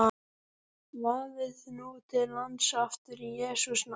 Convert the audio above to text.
Vaðið nú til lands aftur í Jesú nafni.